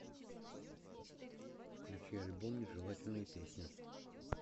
включи альбом нежелательная песня